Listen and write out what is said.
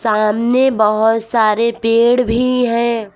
सामने बहुत सारे पेड़ भी हैं।